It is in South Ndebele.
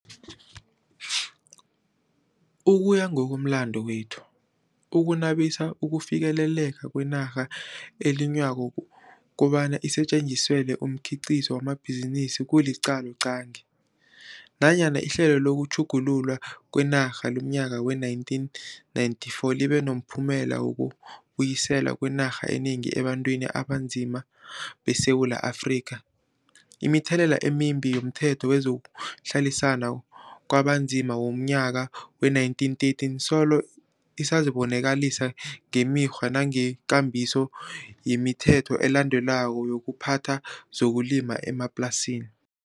Ukuya ngokomlando wethu, ukunabisa ukufikeleleka kwenarha elinywako kobana isetjeniziselwe umkhiqizo wamabhizinisi kuliqaloqangi. Nanyana ihlelo lokutjhugululwa kwenarha lomnyaka we-1994 libe nomphumela wokubuyiselwa kwenarha enengi ebantwini abanzima beSewula Afrika, imithelela emimbi yomThetho wezokuHlaliswa kwabaNzima womNyaka we-1913 solo isazibonakalisa ngemikghwa nangekambiso yemithetho elandelwako yokuphatha zokulima emaplasini.